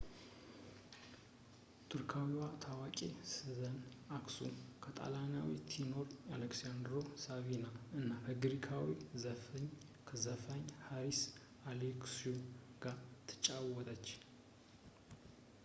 ቱርካዊዋ ታዋቂ ስዘን አክሱ ከጣሊያናዊው ቴኖር አሌሳንድሮ ሳፊና እና ከግሪካዊው ዘፋኝ ሃሪስ አሌክዡ ጋር ትጫወተች